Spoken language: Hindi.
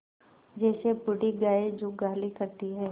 जैसे बूढ़ी गाय जुगाली करती है